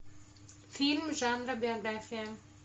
фильм жанра биография